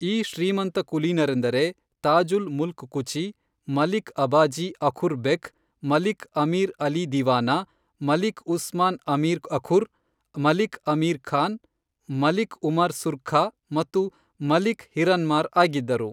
ಈ ಶ್ರೀಮಂತಕುಲೀನರೆಂದರೆ, ತಾಜುಲ್ ಮುಲ್ಕ್ ಕುಚಿ, ಮಲಿಕ್ ಅಬಾಜಿ ಅಖುರ್ ಬೆಕ್, ಮಲಿಕ್ ಅಮೀರ್ ಅಲಿ ದಿವಾನಾ, ಮಲಿಕ್ ಉಸ್ಮಾನ್ ಅಮೀರ್ ಅಖುರ್, ಮಲಿಕ್ ಅಮೀರ್ ಖಾನ್, ಮಲಿಕ್ ಉಮರ್ ಸುರ್ಖಾ ಮತ್ತು ಮಲಿಕ್ ಹಿರನ್ಮಾರ್ ಆಗಿದ್ದರು.